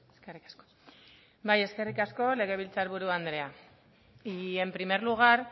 eskerrik asko bai eskerrik asko legebiltzarburu andrea y en primer lugar